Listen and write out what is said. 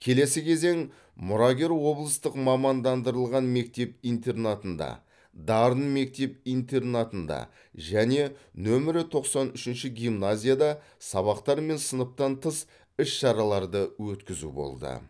келесі кезең мұрагер облыстық мамандандырылған мектеп интернатында дарын мектеп интернатында және нөмірі тоқсан үшінші гимназияда сабақтар мен сыныптан тыс іс шараларды өткізу болды